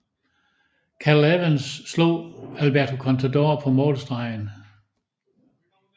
Cadel Evans slog Alberto Contador på målstregen